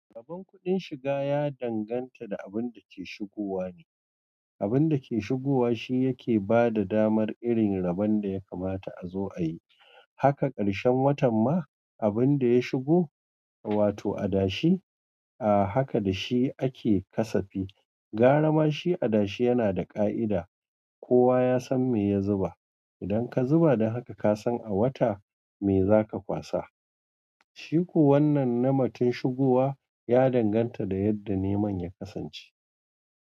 Rabon kuɗin shiga ya danganta da abin da ke shigowa ne. Abin da ke shigowa shi yake ba da damar irin rabon da ya kamata a zo a yi. Haka ƙarshen watan ma abin da ya shigo, wato adashi, a haka da shi ake ƙasafi. Gara ma shi adashi yana da ƙa'ida, kowa ya san me ya zuba. Idan ka zuba, dan haka ka san a wata me za ka kwasa. Shi ko wannan na matun shigowa ya danganta da yadda neman ya kasance.